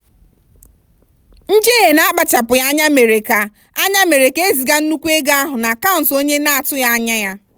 njehie na-akpachapụghị anya mere ka anya mere ka eziga nnukwu ego ahụ n'akaụntụ onye na-atụghị anya ya.